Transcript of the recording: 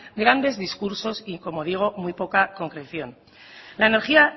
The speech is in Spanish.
grandes discursos y como digo muy poca concreción